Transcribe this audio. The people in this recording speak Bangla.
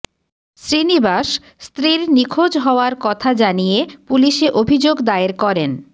শ্রীনিবাস স্ত্রীর নিখোঁজ হওয়ার কথা জানিয়ে পুলিশে অভিযোগ দায়ের করেন